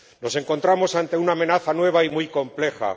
Nos encontramos ante una amenaza nueva y muy compleja.